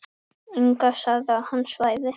Inga sagði að hann svæfi.